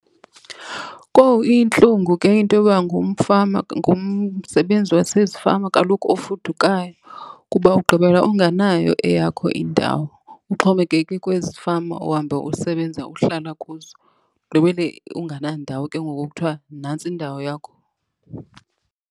Kowum iyintlungu ke into yoba ngumfama, ngumsebenzi wasezifama kaloku ofudukayo kuba ugqibela unganayo eyakho indawo, uxhomekeke kwezi fama uhamba usebenza uhlala kuzo. Ugqibele unganandawo ke ngoku okuthiwa nantsi indawo yakho.